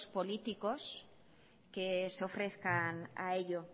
políticos que se ofrezcan a ello